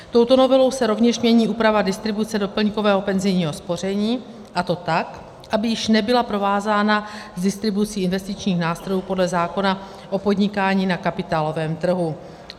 Touto novelou se rovněž mění úprava distribuce doplňkového penzijního spoření, a to tak, aby již nebyla provázána s distribucí investičních nástrojů podle zákona o podnikání na kapitálovém trhu.